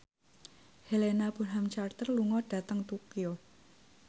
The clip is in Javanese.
Helena Bonham Carter lunga dhateng Tokyo